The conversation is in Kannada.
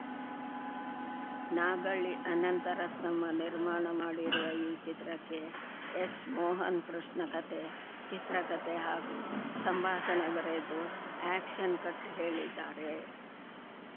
ನಾಗಳ್ಳಿ ಅನಂತ ರತ್ನಮ್ಮ ನಿರ್ಮಾಣ ಮಾಡಿರುವ ಈ ಚಿತ್ರಕ್ಕೆ ಎಸ್‌ ಮೋಹನ್‌ ಕೃಷ್ಣ ಕತೆ ಚಿತ್ರಕತೆ ಹಾಗೂ ಸಂಭಾಷಣೆ ಬರೆದು ಆ್ಯಕ್ಷನ್‌ ಕಟ್‌ ಹೇಳಿದ್ದಾರೆ